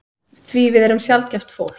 Því við erum sjaldgæft fólk.